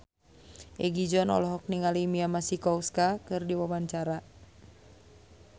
Egi John olohok ningali Mia Masikowska keur diwawancara